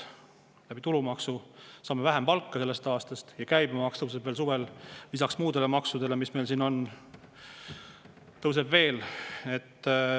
Tulumaksu tõttu saame vähem palka sellest aastast ja käibemaks suvel lisaks muudele maksudele, mis meil siin on, tõuseb veel.